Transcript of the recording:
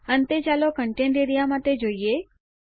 અંતે ચાલો content A R E A માટે જોઈએ